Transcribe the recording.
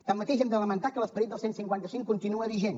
tanmateix hem de lamentar que l’esperit del cent i cinquanta cinc continua vigent